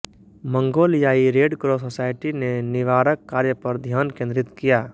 मंगोलियाई red cross society ने निवारक कार्य पर ध्यान केंद्रित किया